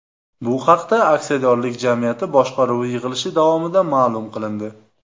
Bu haqda aksiyadorlik jamiyati boshqaruvi yig‘ilishi davomida ma’lum qilindi .